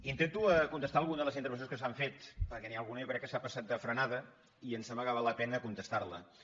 intento contestar a alguna de les intervencions que s’han fet perquè n’hi ha alguna jo crec que s’ha pas·sat de frenada i em sembla que val la pena contes·tar·hi